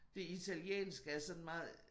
Det italienske er sådan meget